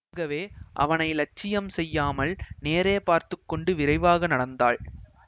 ஆகவே அவனை லட்சியம் செய்யாமல் நேரே பார்த்து கொண்டு விரைவாக நடந்தாள்